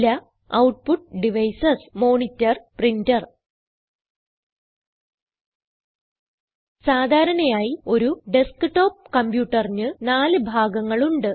ചില output devices monitor printer സാധാരണയായി ഒരു ഡെസ്ക്ടോപ്പ് കംപ്യൂട്ടറിന് നാല് ഭാഗങ്ങൾ ഉണ്ട്